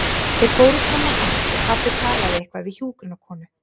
Þeir fóru fram á gang og pabbi talaði eitthvað við hjúkrunarkonu.